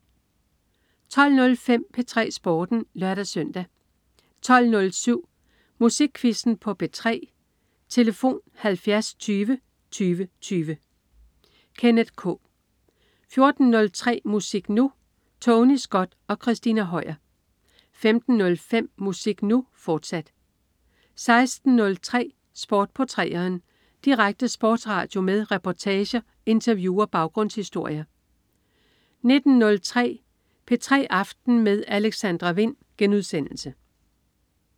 12.05 P3 Sporten (lør-søn) 12.07 Musikquizzen på P3. Tlf.: 70 20 20 20. Kenneth K 14.03 Musik Nu! Tony Scott og Christina Høier 15.05 Musik Nu!, fortsat 16.03 Sport på 3'eren. Direkte sportsradio med reportager, interview og baggrundshistorier 19.03 P3 aften med Alexandra Wind*